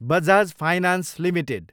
Bajaj finance Ltd